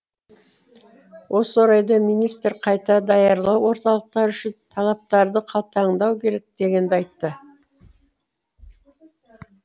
осы орайда министр қайта даярлау орталықтары үшін талаптарды қатаңдату керек дегенді айтты